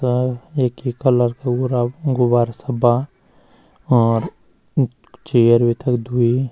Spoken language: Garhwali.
त एक ही कलर कु पूरा गुब्बारा सब्बा और चेयर भी तख द्वि।